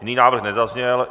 Jiný návrh nezazněl.